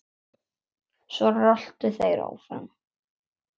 Svo röltu þeir áfram.